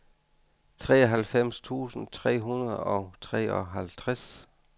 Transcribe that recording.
treoghalvfems tusind tre hundrede og treoghalvtreds